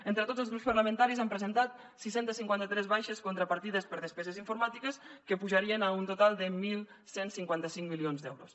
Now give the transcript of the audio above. entre tots els grups parlamentaris han presentat sis cents i cinquanta tres baixes contra partides per despeses informàtiques que pujarien a un total de onze cinquanta cinc milions d’euros